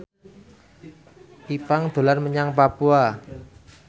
Ipank dolan menyang Papua